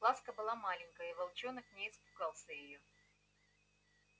ласка была маленькая и волчонок не испугался её